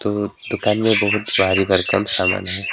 दु दुकान में बहुत भारी भरकम समान है।